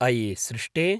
अये सृष्टे!